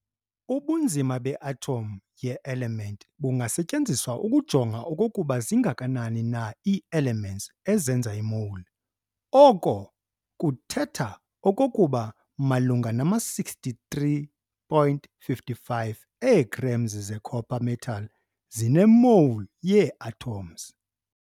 Ubunzima be-atom ye-element bungasetyenziswa ukujonga okokuba zingakanani na ii-elements ezenza i-mole. Oko kuthetha okokuba malunga nama 63.55 ee-grams ze-copper metal zine-mole yee-atoms.